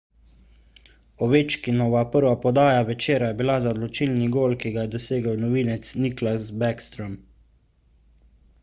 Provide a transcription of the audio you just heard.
ovečkinova prva podaja večera je bila za odločilni gol ki ga je dosegel novinec nicklas backstrom